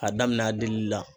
A damin'a delili la.